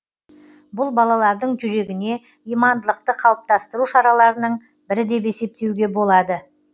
бұл балалардың жүрегіне имандылықты қалыптастыру шараларының бірі деп есептеуге болады